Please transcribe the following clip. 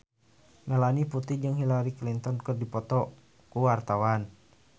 Melanie Putri jeung Hillary Clinton keur dipoto ku wartawan